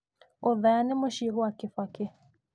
Othaya nĩ mũciĩ gwa Kibaki.